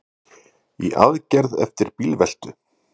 Í aðgerð eftir bílveltu